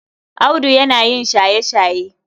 Audu yana yin shaye-shaye.